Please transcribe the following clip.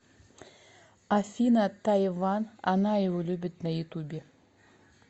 афина тайван она его любит на ютубе